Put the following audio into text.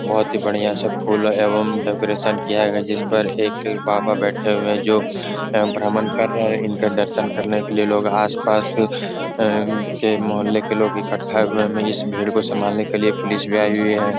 बहुत ही बढ़िया सा फूल एवं डेकोरेशन किया है जिस पर एक बाबा बैठे हुए हैं जो भ्रमण कर रहें हैं। इनका दर्शन करने के लिए लोग आसपास के मोहल्ले के लोग इकठ्ठा हुए हैं। इस भीड़ को संभालने के लिए पुलिस भी आई हुई है।